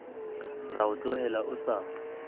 ra o tlohela o sa